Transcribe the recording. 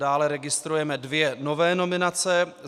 Dále registrujeme dvě nové nominace.